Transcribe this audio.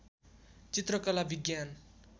चित्रकला विज्ञान